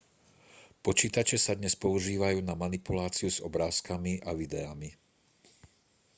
počítače sa dnes používajú na manipuláciu s obrázkami a videami